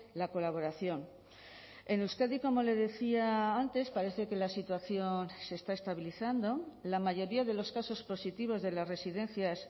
la colaboración en euskadi como le decía antes parece que la situación se está estabilizando la mayoría de los casos positivos de las residencias